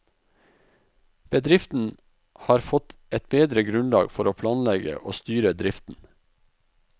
Bedriften har fått et bedre grunnlag for å planlegge og styre driften.